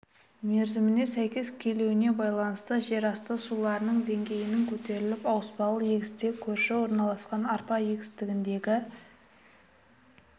мерзіміне сәйкес келуіне байланысты жер асты суларының деңгейінің көтеріліп ауыспалы егісте көрші орналасқан арпа егісіндегі